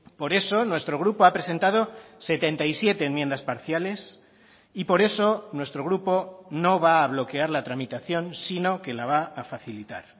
por eso nuestro grupo ha presentado setenta y siete enmiendas parciales y por eso nuestro grupo no va a bloquear la tramitación sino que la va a facilitar